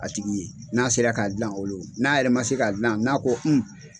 A tigi n'a sera k'a dila olu n'a yɛrɛ ma se k'a dilan n'a ko